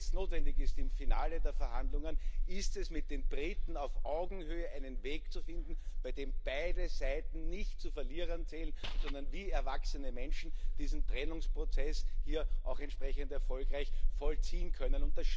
Was jetzt notwendig ist im Finale der Verhandlungen, ist, mit den Briten auf Augenhöhe einen Weg zu finden, bei dem beide Seiten nicht zu Verlierern zählen, sondern wie erwachsene Menschen diesen Trennungsprozess hier auch entsprechend erfolgreich vollziehen können.